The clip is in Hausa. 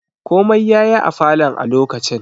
Komai yayi a falon a lokacin